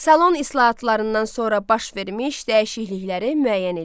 Salon islahatlarından sonra baş vermiş dəyişiklikləri müəyyən eləyin.